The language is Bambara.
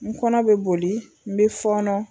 N kɔnɔ be boli n be fɔɔnɔ